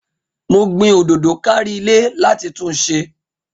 Mo gbin òdòdó kárí ile láti túnse